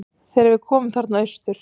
Þegar við komum þarna austur.